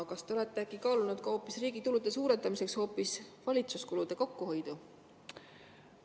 Kas te olete äkki kaalunud riigi tulude suurendamiseks hoopis valitsuskulude kokkuhoidu?